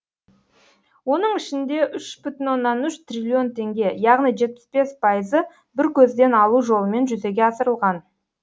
оның ішінде үш бүтін оннан үш триллион теңге яғни жетпіс бес пайызы бір көзден алу жолымен жүзеге асырылған